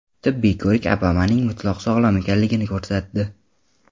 Tibbiy ko‘rik Obamaning mutlaqo sog‘lom ekanligini ko‘rsatdi.